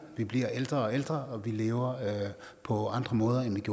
bliver ældre og ældre og lever på andre måder end